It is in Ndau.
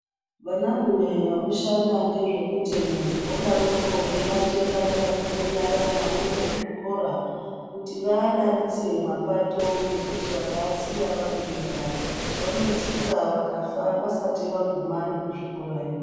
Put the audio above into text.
Vanarume vanoshanda ngezvemutemo vodaroko veibate vana vadoko nyara vanoenda kuzvikora kuti vaadaritse mapato ngekuti vakaasiya vari vega vanotsikwa vakafa vasati vaguma nekuzvikorayo.